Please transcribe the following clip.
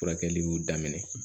Furakɛliw daminɛ